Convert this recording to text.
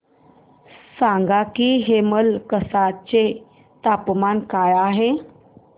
सांगा की हेमलकसा चे तापमान काय आहे